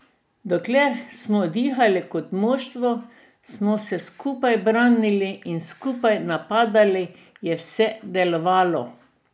Dokler smo dihali kot moštvo, ko smo se skupaj branili in skupaj napadali, je vse delovalo.